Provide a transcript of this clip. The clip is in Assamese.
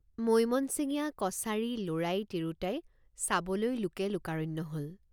মৈমনছিঙীয়া কছাৰীলৰাই তিৰোতাই চাবলৈ লোকে লোকাৰণ্য হল।